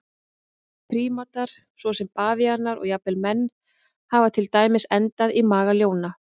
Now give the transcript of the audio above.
Prímatar svo sem bavíanar og jafnvel menn hafa til dæmis endað í maga ljóna.